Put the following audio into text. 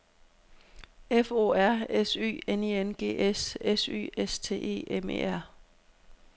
F O R S Y N I N G S S Y S T E M E R